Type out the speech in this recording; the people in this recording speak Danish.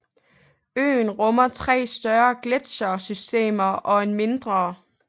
Øen rummer tre større gletsjersystemer og en mindre